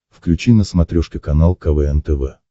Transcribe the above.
включи на смотрешке канал квн тв